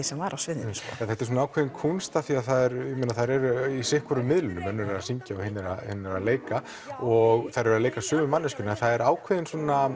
sem var á sviðinu þetta er ákveðin kúnst af því þær eru í sitt hvorum miðlinum önnur er að syngja og hin er að leika og þær eru að leika sömu manneskjuna það er ákveðinn